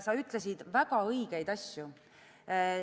Sa ütlesid väga õigeid asju.